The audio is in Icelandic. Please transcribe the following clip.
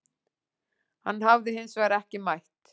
Hann hafi hins vegar ekki mætt